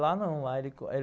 Lá não. Lá